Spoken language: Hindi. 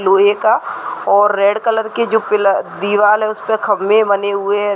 लोहे का और रेड कलर की जो पिला दीवाल है उस पे खम्भे बने हुए है।